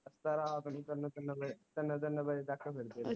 ਅੱਧੀ ਰਾਤ ਨੂੰ ਤਿੰਨ ਤਿੰਨ ਵਜੇ ਤਿੰਨ ਤਿੰਨ ਵਜੇ ਤਕ ਬੈਠੇ ਰਹਿੰਦੇ